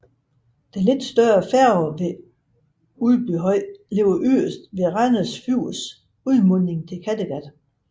Den lidt større færge ved Udbyhøj ligger yderst ved Randers Fjords udmunding til Kattegat